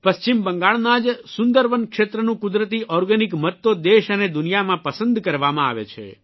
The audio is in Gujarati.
પશ્ચિમ બંગાળના જ સુંદરવન ક્ષેત્રનું કુદરતી ઓર્ગેનિક મધ તો દેશ અને દુનિયામાં પસંદ કરવામાં આવે છે